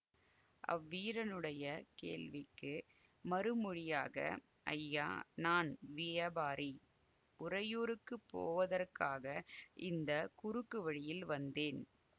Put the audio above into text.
அவ்வீரனுடைய கேள்விக்கு மறு மொழியாக ஐயா நான் வியாபாரி உறையூருக்கு போவதற்காக இந்த குறுக்கு வழியில் வந்தேன்